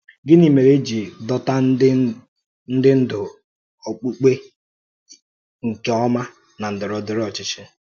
Gịnị mèrè e jí dòtà ndị ndú ọ̀kpùkpè nke ọma na ndọrọ̀ndọrọ̀ ọ́chịchì?